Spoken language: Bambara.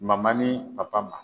Mama ni papa ma